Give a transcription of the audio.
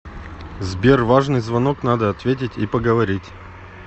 сбер важный звонок надо ответить и поговорить